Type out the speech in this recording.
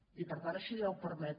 i per tant això ja ho permet